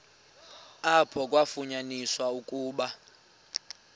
apho kwafunyaniswa ukuba